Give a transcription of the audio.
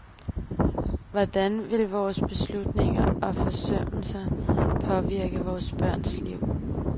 Hvordan vil vore beslutninger og forsømmelser påvirke vore børns liv?